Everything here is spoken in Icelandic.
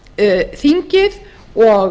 er þingið og